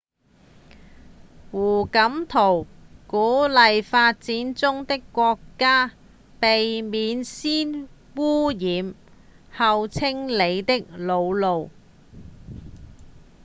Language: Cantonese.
胡錦濤鼓勵發展中的國家「避免先汙染、後清理的老路」